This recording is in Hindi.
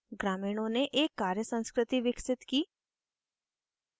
ग्रामीणों ने एक कार्य संस्कृति विकसित की